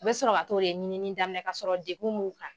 U bɛ sɔrɔ ka t'o de ɲinini daminɛ kasɔrɔ degun b'u kan.